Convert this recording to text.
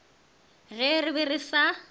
ge re be re sa